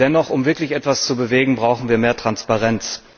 Dennoch Um wirklich etwas zu bewegen, brauchen wir mehr Transparenz.